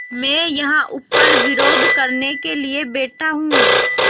मैं यहाँ ऊपर विरोध करने के लिए बैठा हूँ